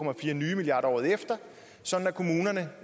nye milliarder kroner året efter sådan at kommunerne